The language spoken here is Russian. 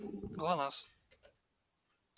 глонассс